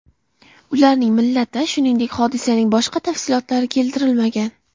Ularning millati, shuningdek, hodisaning boshqa tafsilotlari keltirilmagan.